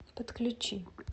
подключи